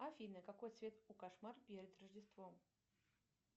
афина какой цвет у кошмар перед рождеством